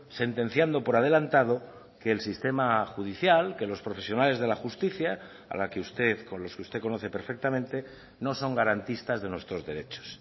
sentenciando por adelantado que el sistema judicial que los profesionales de la justicia a la que usted con los que usted conoce perfectamente no son garantistas de nuestros derechos